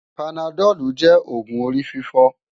Pánádòlú jè ógún óri fifò